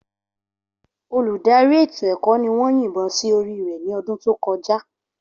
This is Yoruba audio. Olùdarí ètò ẹ̀kọ́ ni wọ́n yìnbọn sí orí rẹ̀ ní ọdún tó kọjá.